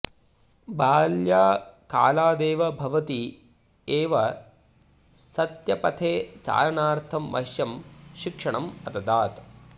बाल्यकालादेव भवती एव सत्यपथे चालनार्थं मह्यं शिक्षणम् अददात्